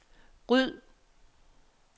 ryd